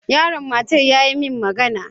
Yaron matar yayi min magana.